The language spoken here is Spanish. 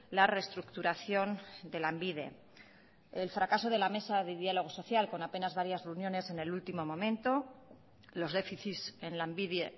la restructuración de lanbide el fracaso de la mesa de diálogo social con apenas varias reuniones en el último momento los déficits en lanbide